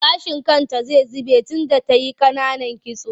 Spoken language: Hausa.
Gashinta zai zube tunda ta yi ƙananan kitso.